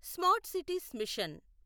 smart cities machine